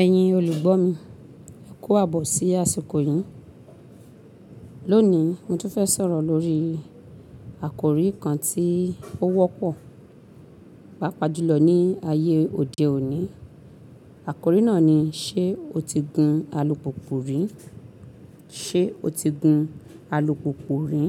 Ẹ̀yin olùgbọ́ mi, ẹ kú àbọ̀ sí àsìkò yìí. Lónìí, mo tún fẹ́ sọ̀rọ̀ lórí àkórí kan tí ó wọ́pọ̀, pàápàá jùlọ ní ayé òde òní. Àkórí náà ni ṣé o ti gun alùpùpù rí? Ṣé o ti gun alùpùpù rí?